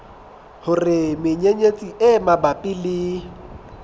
hore menyenyetsi e mabapi le